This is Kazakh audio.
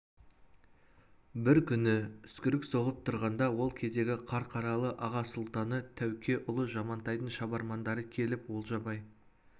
бір күні үскірік соғып тұрғанда ол кездегі қарқаралы аға сұлтаны тәуке ұлы жамантайдың шабармандары келіп олжабай